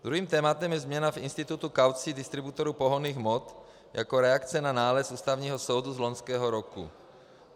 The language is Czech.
Druhým tématem je změna v institutu kaucí distributorů pohonných hmot jako reakce na nález Ústavního soudu z loňského roku.